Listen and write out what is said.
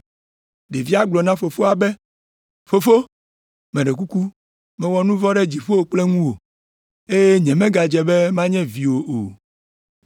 “Ɖevia gblɔ na fofoa be, ‘Fofo, meɖe kuku mewɔ nu vɔ̃ ɖe dziƒo kple ŋuwò, eye nyemegadze be manye viwò o.’